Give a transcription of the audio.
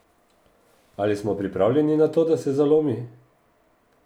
Ali smo pripravljeni na to, da se zalomi?